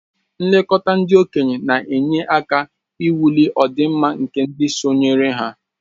Nlekọta ndị okenye na-enye aka ịwulị ọdịmma nke ndị sonyere ya